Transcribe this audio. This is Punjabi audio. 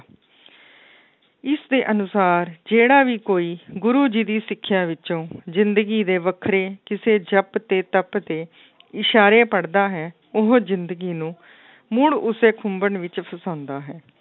ਇਸਦੇ ਅਨੁਸਾਰ ਜਿਹੜਾ ਵੀ ਕੋਈ ਗੁਰੂ ਜੀ ਦੀ ਸਿੱਖਿਆ ਵਿੱਚੋਂ ਜ਼ਿੰਦਗੀ ਦੇ ਵੱਖਰੇ ਕਿਸੇ ਜਪ ਤੇ, ਤਪ ਤੇ ਈਸਾਰੇ ਪੜ੍ਹਦਾ ਹੈ, ਉਹ ਜ਼ਿੰਦਗੀ ਨੂੰ ਮੁੜ ਉਸੇ ਖੁੰਬਣ ਵਿੱਚ ਫਸਾਉਂਦਾ ਹੈ।